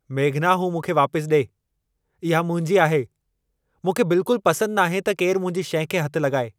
मेघना, हू मूंखे वापसि ॾिए। इहा मुंहिंजी आहे! मूंखे बिल्कुलु पसंदि नाहे त केरु मुंहिंजी शइ खे हथ लॻाए।